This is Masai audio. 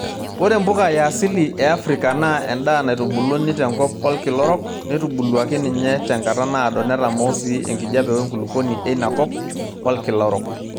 Ore mpuka yaasili eafrika naa enda naitubuluni tenkop olkila orok, neitubuluaki ninye tenkata naado netamoo si enkijiape wenkulupuoni einakop olkila orok.